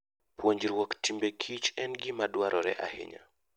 Puonjruok timbe kich en gima dwarore ahinya.